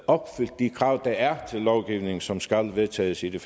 opfyldt de krav der er til lovgivning som skal vedtages i det